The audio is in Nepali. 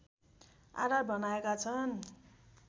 आधार बनाएका छन्